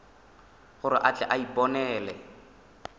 gore a tle a iponele